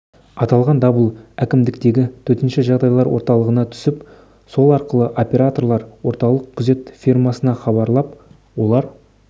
аталған дабыл әкімдіктегі төтенше жағдайлар орталығына түсіп сол арқылы операторлар орталық күзет фирмасына хабарлап олар